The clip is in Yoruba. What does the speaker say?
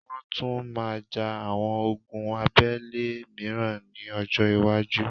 Wọ́́n tún máa ja àwọn ogun abẹ́lé mìíràn ní ọjọ́-iwájú.